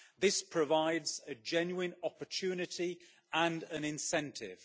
This provides a genuine opportunity and an incentive.